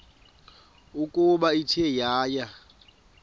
ukuba ithe yaya